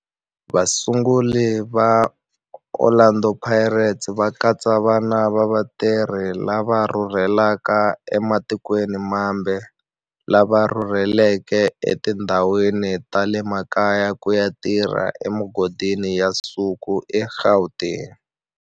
Vasunguri va Orlando Pirates va katsa vana va vatirhi lava rhurhelaka ematikweni mambe lava rhurheleke etindhawini ta le makaya ku ya tirha emigodini ya nsuku eGauteng.